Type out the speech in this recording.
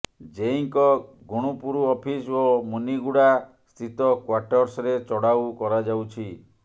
ଜେଇଙ୍କ Gunupur office ଓ ମୁନିଗୁଡ଼ା ସ୍ଥିତ କ୍ୱାର୍ଟର୍ସରେ ଚଢାଉ କରାଯାଉଛି